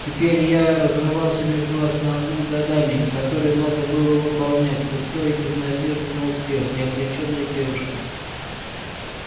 теперь я разрывался между основным заданием которое надо было выполнять пустой и без надежды на успех и обречённой девушкой